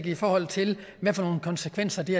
i forhold til hvad for nogle konsekvenser det